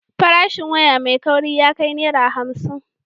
Farashin waya mai kauri ya kai Naira hamsin.